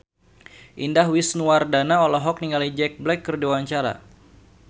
Indah Wisnuwardana olohok ningali Jack Black keur diwawancara